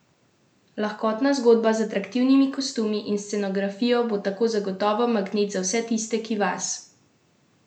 Lahkotna zgodba z atraktivnimi kostumi in scenografijo bo tako zagotovo magnet za vse tiste, ki vas zanimajo karierni začetki velikih pevcev!